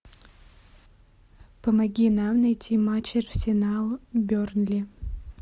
помоги нам найти матч арсенал бернли